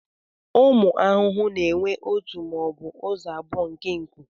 Ụmụ ahụhụ na-enwe ọtu maọbu ụzọ abụọ nke nkụ.